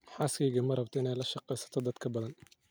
Xaaskeyga marabto inay lasheegesato dadk badaan.